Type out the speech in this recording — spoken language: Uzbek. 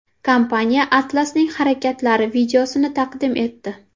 Kompaniya Atlas’ning harakatlari videosini taqdim etdi.